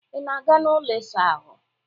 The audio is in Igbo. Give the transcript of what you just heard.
Ị na-aga n'ụlọ ịsa ahụ?